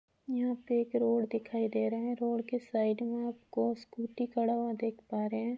यहाँ पे एक रोड दिखाई दे रहा है रोड के साइड में आपको स्कूटी खड़ा हुआ देख पा रहे हैं।